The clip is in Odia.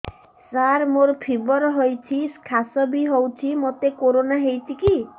ସାର ମୋର ଫିବର ହଉଚି ଖାସ ବି ହଉଚି ମୋତେ କରୋନା ହେଇଚି କି